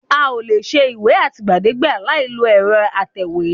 A ò lè ṣe ìwé àtìgbàdégbà láìlo ẹ̀rọ atẹ̀wé